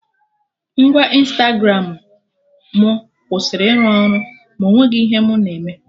Ngwa Ịnstagramụ mụ kwụsịrị ịrụ ọrụ ma ọ nweghị ihe mụ na-eme